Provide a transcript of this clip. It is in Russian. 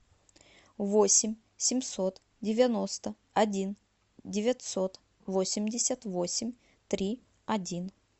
восемь семьсот девяносто один девятьсот восемьдесят восемь три один